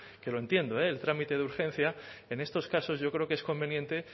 que lo entiendo eh el trámite de urgencia en estos casos yo creo que es conveniente